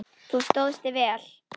Þú stóðst þig vel.